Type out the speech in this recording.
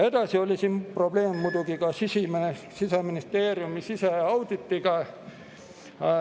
Probleem oli muidugi ka Siseministeeriumi siseauditiga.